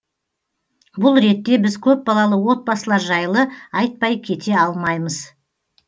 бұл ретте біз көпбалалы отбасылар жайлы айтпай кете алмаймыз